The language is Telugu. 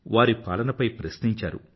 వారి పరిపాలనపై ప్రశ్నించారు